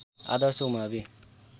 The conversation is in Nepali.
आदर्श उमावि